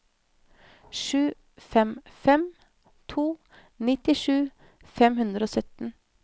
sju fem fem to nittisju fem hundre og sytten